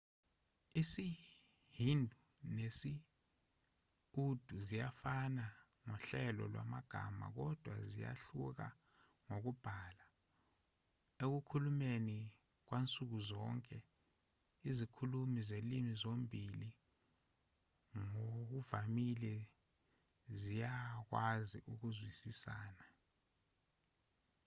isihindi nesi-urdu ziyafana ngohlelo lwamagama kodwa ziyahluka ngokubhala ekukhulumeni kwansuku zonke izikhulumi zezilimi zombili ngokuvamile ziyakwazi ukuzwisisana